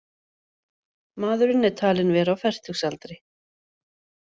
Maðurinn er talinn vera á fertugsaldri